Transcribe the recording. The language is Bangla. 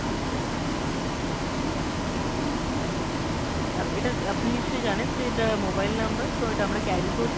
অ্যাঁ এটা আপনি নিশ্চয় জানেন যে এটা mobile number, so এটা আমরা carry করি।